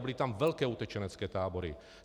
A byly tam velké utečenecké tábory.